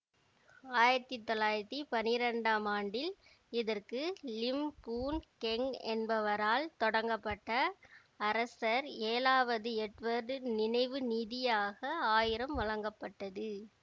ஆயிரத்தி தொள்ளாயிரத்தி பனிரெண்டாம் ஆண்டில் இதற்கு லிம் பூன் கெங் என்பவரால் தொடங்கப்பட்ட அரசர் ஏழாவது எட்வர்டு நினைவு நிதியாக ஆயிரம் வழங்கப்பட்டது